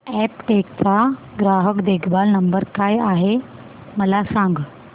Aptech चा ग्राहक देखभाल नंबर काय आहे मला सांग